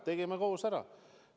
Tegime selle koos ära!